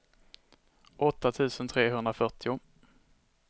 åtta tusen trehundrafyrtio